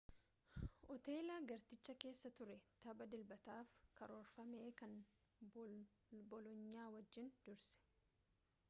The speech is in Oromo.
hooteela gartichaa keessa ture tapha dilbataaf karoorfame kan boloonyaa wajjinii dursee